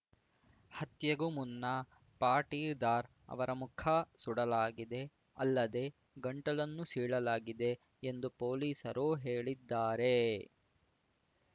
ಹತ್ಯೆಗೂ ಮುನ್ನ ಪಾಟಿದಾರ್‌ ಅವರ ಮುಖ ಸುಡಲಾಗಿದೆ ಅಲ್ಲದೆ ಗಂಟಲನ್ನು ಸೀಳಲಾಗಿದೆ ಎಂದು ಪೊಲೀಸರು ಹೇಳಿದ್ದಾರೆ